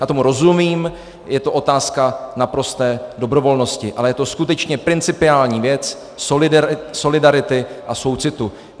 Já tomu rozumím, je to otázka naprosté dobrovolnosti, ale je to skutečně principiální věc solidarity a soucitu.